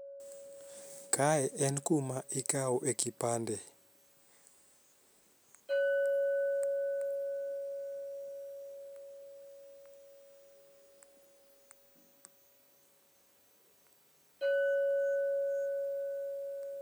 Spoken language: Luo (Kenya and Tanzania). kae en kuma ikawoe kipande